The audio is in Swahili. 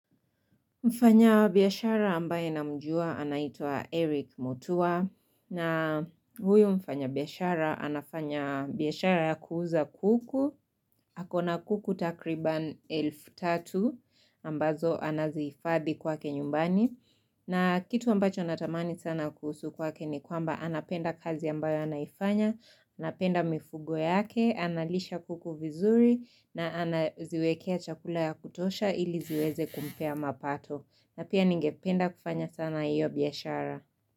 Mfanya biyashara ambaye namjua anaitua Eric Motua na huyu mfanya biyashara anafanya biyashara ya kuuza kuku. Hakona kuku takriban elfu tatu ambazo anazifadhi kwake nyumbani. Na kitu ambacho natamani sana kuhusu kwake ni kwamba anapenda kazi ambayo anaifanya. Anapenda mifugo yake, analisha kuku vizuri na anaziwekea chakula ya kutosha ili ziweze kumpea mapato. Na pia ningependa kufanya sana iyo biyashara.